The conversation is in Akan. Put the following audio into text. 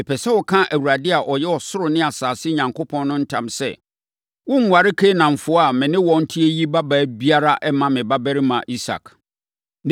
Mepɛ sɛ woka Awurade a ɔyɛ ɔsoro ne asase Onyankopɔn ntam sɛ, worenware Kanaanfoɔ a me ne wɔn te yi babaa biara mma me babarima Isak.